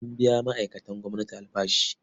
An biya ma'aikatan gwamnati albashi.